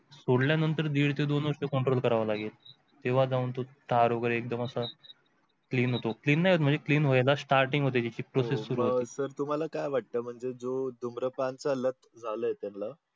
सोडल्यानंतर दीड ते दोन वर्ष control करावं लागेल तेव्हा जाऊन तो तार वगैरे एक्दम असा clean होतो. Clean नाही होत म्हणजे clean होईला staring होती त्याची process सुरु होते. sir तुम्हाला काय वाटत म्हणजे जो धूम्रपान चा लत झालाय त्यांना